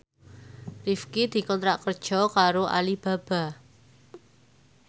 Rifqi dikontrak kerja karo Alibaba